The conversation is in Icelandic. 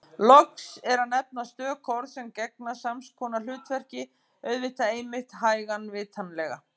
Loks er að nefna stök orð sem gegna sams konar hlutverki: auðvitað einmitt hægan vitanlega